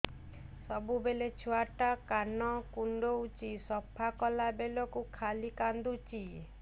ସବୁବେଳେ ଛୁଆ ଟା କାନ କୁଣ୍ଡଉଚି ସଫା କଲା ବେଳକୁ ଖାଲି କାନ୍ଦୁଚି